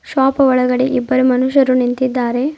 Shop ಒಳಗಡೆ ಇಬ್ಬರು ಮನುಷ್ಯರು ನಿಂತಿದ್ದಾರೆ.